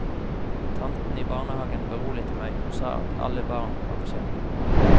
Tanten i barnehagen beroliget meg og sa at alle barn var forskjellige.